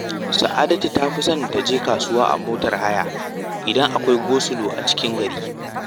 Sa’adatu ta fi son ta je kasuwa a motar haya, idan akwai gosulo a cikin gari